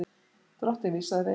Drottinn vísaði veginn.